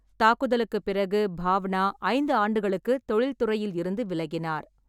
தாக்குதலுக்குப் பிறகு, பாவனா ஐந்து ஆண்டுகளுக்கு தொழில்துறையில் இருந்து விலகினார்.